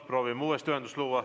Proovime uuesti ühenduse luua.